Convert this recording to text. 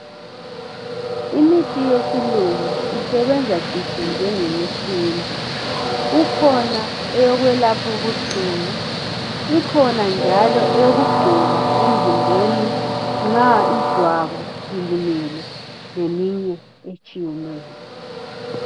Imithi yesilungu isebenza citshi njengeyesintu. Kukhona eyokwelaphubuhlungu. Ikhona njalo eyokugcoba emzimbeni nxa ijwabu lilimele leminye etshiyeneyo.